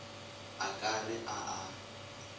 o ka re a a